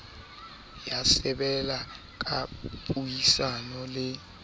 ya sebele ka puisano le